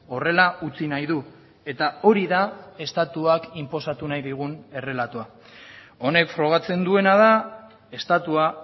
horrela utzi nahi du eta hori da estatuak inposatu nahi digun errelatoa honek frogatzen duena da estatua